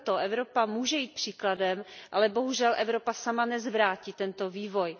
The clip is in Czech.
Proto Evropa může jít příkladem, ale bohužel Evropa sama nezvrátí tento vývoj.